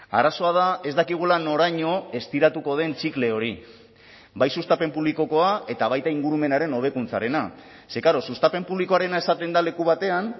arazoa da ez dakigula noraino estiratuko den txikle hori bai sustapen publikokoa eta baita ingurumenaren hobekuntzarena ze klaro sustapen publikoarena esaten da leku batean